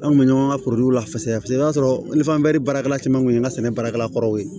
An kun bɛ ɲɔgɔn ka lase i b'a sɔrɔ baarakɛla caman kun ye an ka sɛnɛ baarakɛla kɔrɔ ye